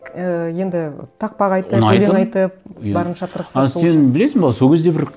ііі енді тақпақ айтып ұнайтын өлең айтып иә барынша тырысып сол үшін а сен білесің бе сол кезде бір